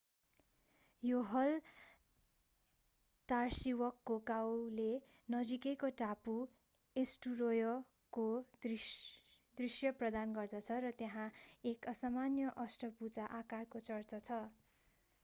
हलदार्सिवकको गाउँले नजिकैको टापु एस्टुरोयको दृश्य प्रदान गर्दछ र त्यहाँ एक असामान्य अष्टभुजा आकारको चर्च छ